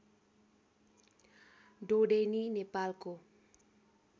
ढोडेनी नेपालको